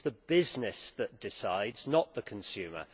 it is the business that decides, not the consumer.